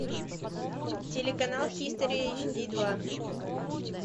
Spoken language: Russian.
телеканал хистори эйч ди два